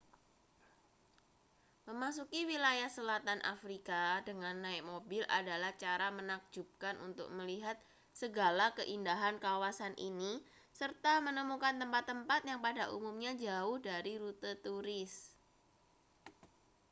memasuki wilayah selatan afrika dengan naik mobil adalah cara menakjubkan untuk melihat segala keindahan kawasan ini serta menemukan tempat-tempat yang pada umumnya jauh dari rute turis